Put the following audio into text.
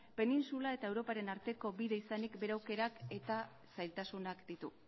penintsula eta europaren arteko bide izanik bere aukerak eta zailtasunak ditu